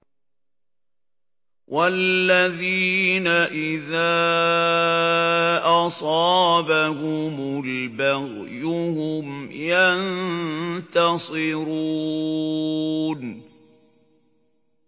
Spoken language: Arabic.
وَالَّذِينَ إِذَا أَصَابَهُمُ الْبَغْيُ هُمْ يَنتَصِرُونَ